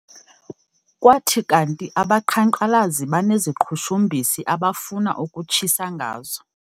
Kwathi kanti abaqhankqalazi baneziqhushumbisi abafuna ukutshisa ngazo.